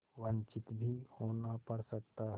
वंचित भी होना पड़ सकता है